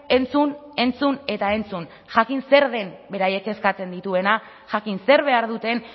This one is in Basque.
entzun entzun eta entzun jakin zer den beraiek kezkatzen dituena jakin zer behar duten